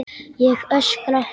Ég öskra.